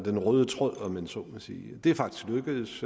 den røde tråd om man så må sige det er faktisk lykkedes